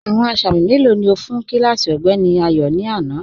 Awọn asámì melo ni o fun kílásí Ọgbẹ̀ni Ayo ni ana?